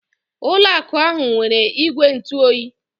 Ụlọ akụ ahụ nwere igwe ntụ oyi.